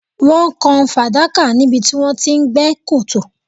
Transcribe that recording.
Wọ́n kan fàdákà níbi tí wọ́n ti ń gbẹ́ kòtò